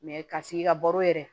Mɛ ka sigi ka baro yɛrɛ